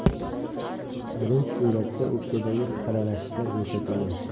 Birinchi suratda o‘pkadagi xiralashishlar ko‘rsatilgan.